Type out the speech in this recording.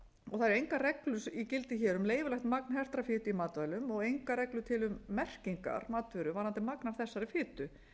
næringargildismerkingu það eru engar reglur í gildi hér um leyfilegt magn hertrar fitu í matvælum og engar reglur til um merkingar matvöru varðandi magn af þessari fitu